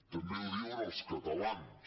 també ho diuen els catalans